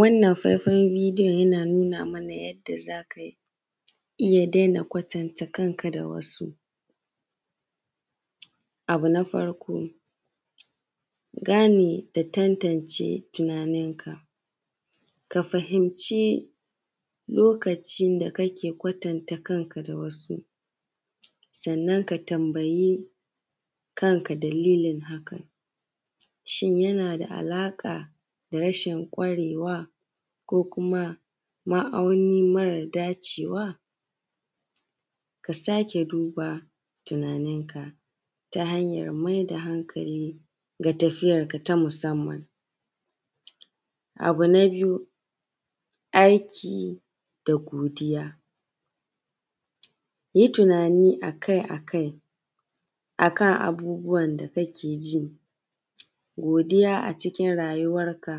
Wannan faifan bidiyon yana nuna mana yadda za ka iya daina kwatanta kanka da wasu. Abu na farko gane da tantance tunanin ka, ka fahimci lokacin da kake kwatanta kanka da wasu, sannan ka tambayi kanka dalilin hakan. Shin yana da alaƙa na rashin ƙwarewa ko kuma ma'auni mara dace wa, ka sake duba tunanin ka ta hanyan mai da hankali ga tafiyar ka na musamman. Abu na biyu aiki da godiya. Yi tunani akai akai akan abubuwan da kake ji, godiya a cikin rayuwarka.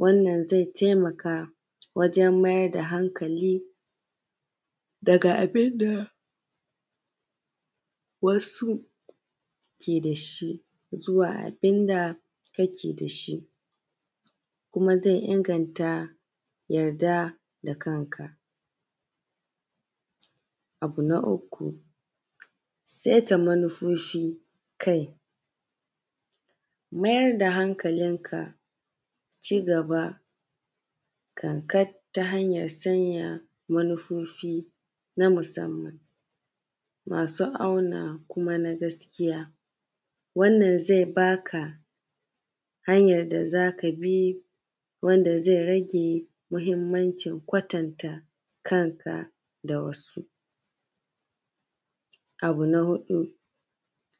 Wannan zai taimaka wajan mai da hankali daga abin da wasu ke da shi zuwa abin da kake da shi, kuma zai inganta yarda da kanka. Abu na uku saita manufofin kai, maya rda hankalinka, cigaba kankat ta hanyar sanya manufofi na musamman masu auna kuma na gaskiya wannan zai ba ka hanyar da za ka bi wanda zai rage muhimmancin kwatanta kanka da wasu. Abu na huɗu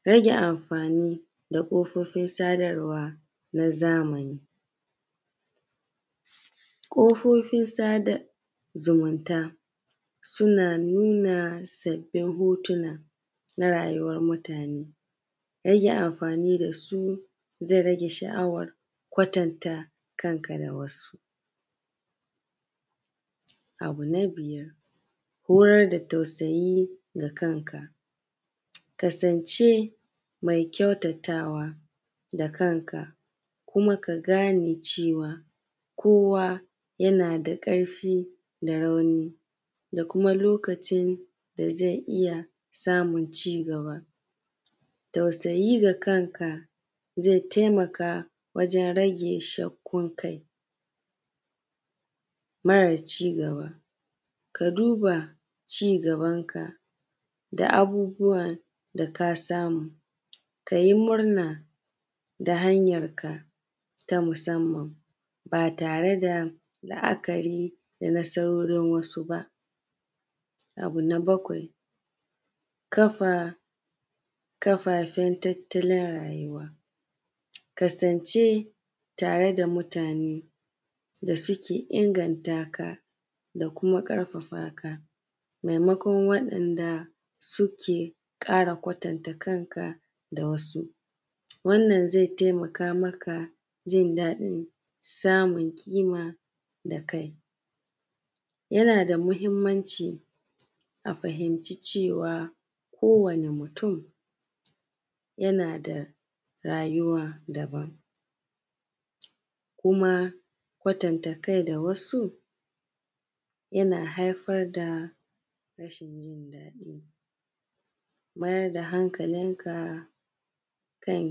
rage anfani da ƙofofin sadarwa na zamani. Ƙafofin sadar da zumunta suna nuna sabbin hotuna na rayuwar mutane. Rage amfani da su zai rage sha’awar kwatanta kanka da wasu. Abu na biyar horar da tausayi da kanka. Kasance mai kyautatawa da kanka kuma ka gane cewa kowa yana da ƙarfi da rauni da kuma lokacin da zai iya samun cigaba. Tausayi ga kanka zai taimaka wajan rage shakkun kai mara cigaba. Ka duba cigaban ka da abubuwan da ka samu, ka yi murna da hanyarka ta musamman ba tare da la’akari da nasarorin wasu ba. Abu na bakwai kafafin tattalin rayuwa. Kasance tare da mutane da suke inganta ka da kuma ƙarfafaka maimakon waɗanda suke ƙara kwatanta kanka da wasu. Wannan zai taimaka maka jin daɗin samun kima da kai. Yana da muhinmanci ka fahimci cewa kowane mutum yana da rayuwa daban, kuma kwatanta kai da wasu yana haifar da rashin jin daɗi. Mayar da hankalinka kan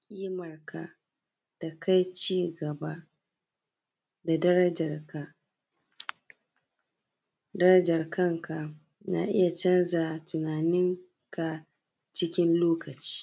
kimarka, da cigaba da darajar ka. Darajar kanka na iya canza tunaninka cikin lokaci.